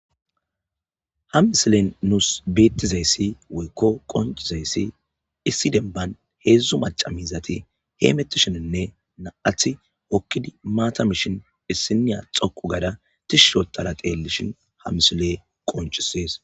Ha misiley nus betizaysi woyko qoncisiyaysi issi demban hedzu anchara miizati hemetishe de'etes nam'ati maata mishin issiniya dhoqu gada Tish oothada xilishin ha misiley qoncises